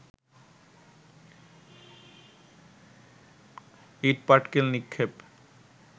ইটপাটকেল নিক্ষেপ